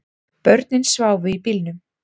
Börnin sváfu í bílnum